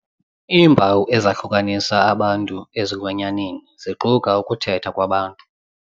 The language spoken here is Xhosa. Iimpawu ezahlukanisa abantu ezilwanyaneni ziquka ukuthetha kwabantu.